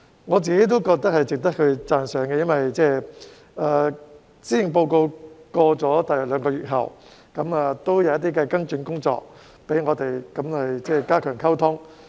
我自己亦覺得是值得讚賞的，因為在施政報告發表約兩個月後，政府亦採取了跟進工作，加強溝通。